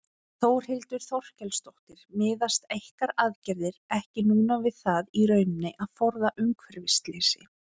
Þórhildur Þorkelsdóttir: Miðast ykkar aðgerðir ekki núna við það í rauninni að forða umhverfisslysi?